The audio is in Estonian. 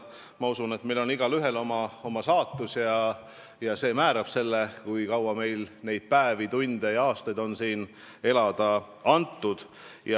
Ma usun, et igalühel on oma saatus, mis määrab selle, kui kauaks talle on päevi, tunde ja aastaid siin elamiseks antud.